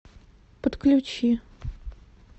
подключи